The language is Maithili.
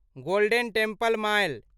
golden Temple mile